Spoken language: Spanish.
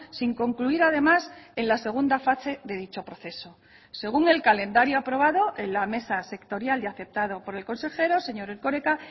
sin concluir además en la segunda fase de dicho proceso según el calendario aprobado en la mesa sectorial y aceptado por el consejero señor erkoreka